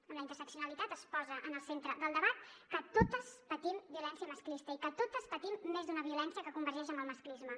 amb la interseccionalitat es posa en el centre del debat que totes patim violència masclista i que totes patim més d’una violència que convergeix amb el masclisme